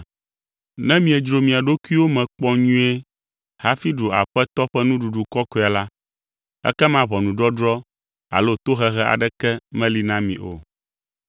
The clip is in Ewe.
Ne miedzro mia ɖokuiwo me kpɔ nyuie hafi ɖu Aƒetɔ ƒe Nuɖuɖu Kɔkɔea la, ekema ʋɔnudɔdrɔ̃ alo tohehe aɖeke meli na mi o.